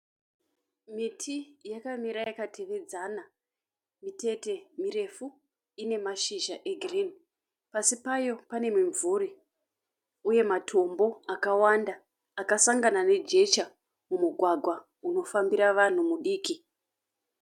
Miti yakamira yakatevedzana. Mitete mirefu ine mashizha egirini. Pasi payo pane mimvuri uye matombo akawanda akasangana nejecha mumugwagwa unofambira vanhu mudiki.